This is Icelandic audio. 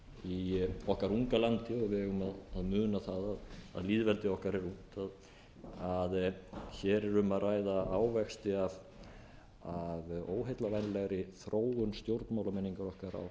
í okkar unga landi og við eigum að muna það að lýðveldið okkar er ungt að hér er um að ræða ávexti af óheillavænlegri þróun stjórnmálamenningar okkar á